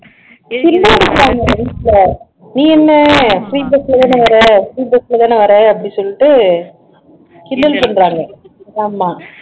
கிண்டல் அடிக்கிறாங்க வீட்ல நீ என்ன free bus ல தானே வர்ற free bus ல தானே வர்ற அப்படி சொல்லிட்டு கிண்டல் பண்றாங்க ஆமா